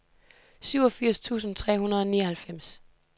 syvogfirs tusind tre hundrede og nioghalvfems